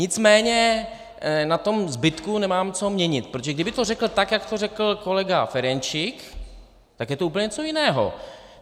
Nicméně na tom zbytku nemám co měnit, protože kdyby to řekl tak, jak to řekl kolega Ferjenčík, tak je to úplně něco jiného.